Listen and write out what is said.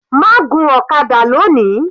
Má gun ọ̀kadà lóni.